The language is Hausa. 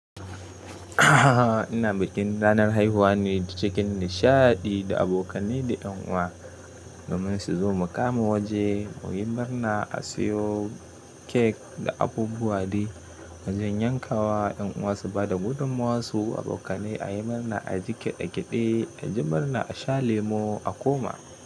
Ina bikin ranar haihuwa ne cikin nishadi da abokane da yan uwa. Gamai su zo mu kama waje mu yi murna, a siyo kek da abubuwa de, mu je yankawa, yan uwa su ba da gudummawarsu, abokanai a yi murna, a ji keɗe-keɗe, a ji murna, a sha lemo, a koma.